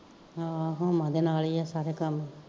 ਹਾਂ ਹੂੰਮਾ ਦੇ ਨਾਲ ਈ ਆ ਸਾਰੇ ਕੰਮ